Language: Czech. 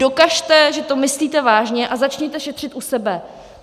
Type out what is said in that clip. Dokažte, že to myslíte vážně, a začněte šetřit u sebe.